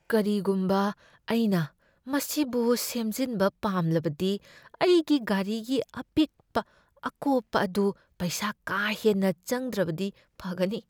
ꯀꯔꯤꯒꯨꯝꯕ ꯑꯩꯅ ꯃꯁꯤꯕꯨ ꯁꯦꯝꯖꯤꯟꯕ ꯄꯥꯝꯂꯕꯗꯤ ꯑꯩꯒꯤ ꯒꯥꯔꯤꯒꯤ ꯑꯄꯤꯛꯄ ꯑꯀꯣꯞꯄ ꯑꯗꯨ ꯄꯩꯁꯥ ꯀꯥ ꯍꯦꯟꯅ ꯆꯪꯗ꯭ꯔꯕꯗꯤ ꯐꯒꯅꯤ꯫